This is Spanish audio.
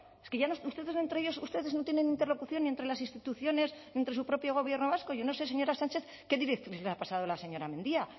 es que ustedes entre ellos ustedes no tienen interlocución entre las instituciones y entre su propio gobierno vasco yo no sé señora sánchez qué directrices le ha pasado la señora mendia